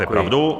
Máte pravdu.